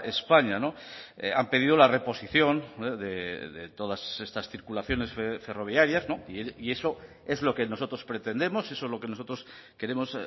españa han pedido la reposición de todas estas circulaciones ferroviarias y eso es lo que nosotros pretendemos eso es lo que nosotros queremos